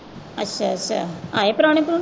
ਅੱਛਾ ਅੱਛਾ ਆਏ ਪ੍ਰਾਹੁਣੇ।